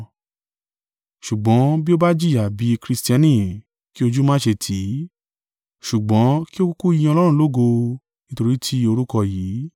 Ṣùgbọ́n bí ó bá jìyà bí Kristiani kí ojú má ṣe tì í, ṣùgbọ́n kí ó kúkú yin Ọlọ́run lógo nítorí ti o orúkọ yìí.